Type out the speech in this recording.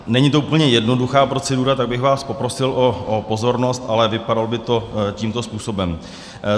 Není to úplně jednoduchá procedura, tak bych vás poprosil o pozornost, ale vypadalo by to tímto způsobem.